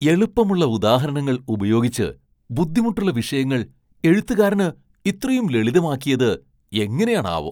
എളുപ്പമുള്ള ഉദാഹരണങ്ങൾ ഉപയോഗിച്ച് ബുദ്ധിമുട്ടുള്ള വിഷയങ്ങൾ എഴുത്തുകാരന് ഇത്രയും ലളിതമാക്കിയത് എങ്ങനെയാണാവോ!